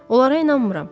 Onlara inanmıram.